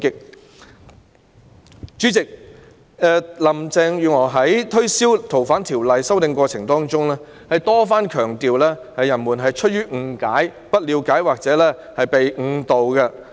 代理主席，林鄭月娥在推銷《逃犯條例》的修訂的過程中多番強調大家反對的原因是出於誤解、不了解或被誤導。